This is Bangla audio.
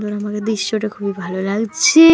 মনে মনে দৃশ্যটা খুবই ভালো লাগছে।